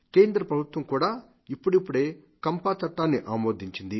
కేంద్రప్రభుత్వం కూడా ఇప్పడిప్పుడే కంపా చట్టాన్ని ఆమోదించింది